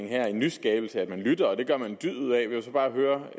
her en nyskabelse at man lytter og det gør man en dyd ud af jeg vil så bare høre